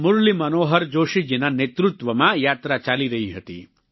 મુરલી મનોહર જોશી જીના નેતૃત્વમાં યાત્રા ચાલી રહી હતી